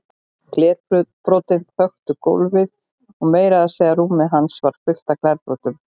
Glerbrotin þöktu gólfið og meira að segja rúmið hans var fullt af glerbrotum.